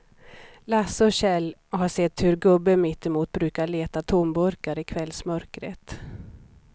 Lasse och Kjell har sett hur gubben mittemot brukar leta tomburkar i kvällsmörkret.